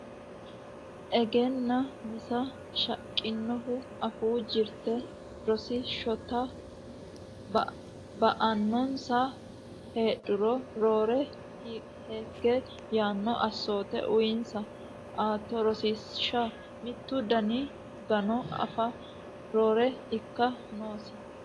Egennaa misa Shiqannohu afuu jirte rosi shotte ba annonsa heedhuro Roore hekki yaanno assoote uyinsa aatto rosiishshi mittu dani gano afi rinoha ikka noosi.